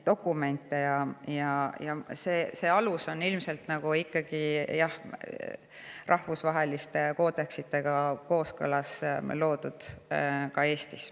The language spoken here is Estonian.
Ja see alus on ilmselt rahvusvaheliste koodeksitega kooskõlas ka Eestis.